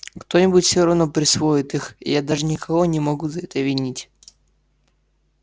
кто-нибудь всё равно присвоит их и я даже никого не могу за это винить